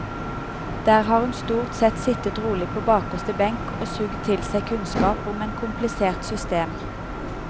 Der har hun stort sett sittet rolig på bakerste benk og suget til seg kunnskap om et komplisert system.